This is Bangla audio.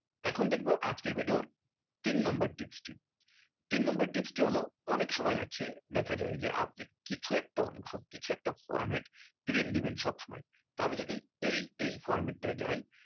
এখন দেখবো আজকের video র তিন number tips টি তিন number tips টি হলো অনেক সময় আছে দেখা যাই যে আপনি কিছু একটা অংশ কিছু একটা format print দেবেন সব সময় তা আমি যদি এই এই format টাই যাই